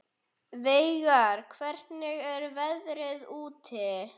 Veigar, hvernig er veðrið úti?